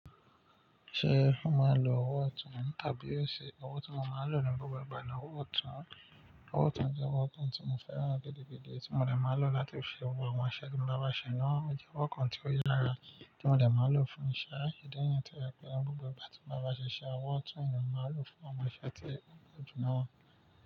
Ṣé mo máa ń lo ọwọ́ ọ̀tún tàbí óṣi ọwọ́ tí mo máa ń lò nínú gbogbo ìgbà ni ọwọ́ ọ̀tún. Ọwọ́ ọ̀tún jẹ́ ọwọ́ kan tí mo fẹ́ràn gidigìdi tí mo dẹ̀ máa ń lò láti fi wọ àwọn iṣe tí mo bá máa ṣe náà. Ó jẹ́ ọwọ́ kan tí ó yára tí mo dẹ̀ máa ń lò fún iṣẹ́ ìdí nìyẹn tó yẹ pé ní gbogbo ìgbà tí mo bá wáa ile iṣẹ́, ọwọ́ ọ̀tún ni mo máa ń lò fún àwọn iṣẹ tí ó dùn mọ́